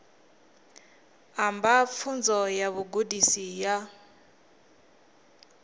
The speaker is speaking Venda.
amba pfunzo ya vhugudisi ya